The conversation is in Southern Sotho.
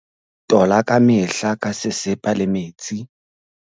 Tola ka mehla ka sesepa le metsi.